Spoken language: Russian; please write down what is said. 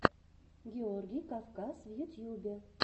георгий кавказ в ютьюбе